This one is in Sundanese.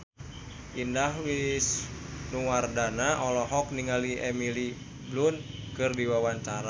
Indah Wisnuwardana olohok ningali Emily Blunt keur diwawancara